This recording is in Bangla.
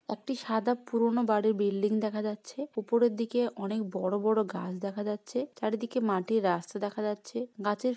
একটি সাদা পুরনো বাড়ির বিল্ডিং দেখা যাচ্ছে উপরের দিকে অনেক বড়ো গাছ দেখা যাচ্ছে চারিদিকে মাটির রাস্তা দেখা যাচ্ছে ।গাছের--